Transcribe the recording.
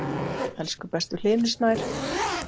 Elsku besti Hlynur Snær.